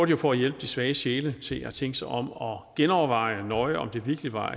jo for at hjælpe de svage sjæle til at tænke sig om og genoverveje nøje om det virkelig var